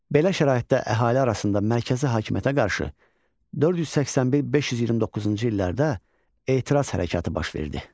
Belə şəraitdə əhali arasında mərkəzi hakimiyyətə qarşı 481-529-cu illərdə etiraz hərəkatı baş verdi.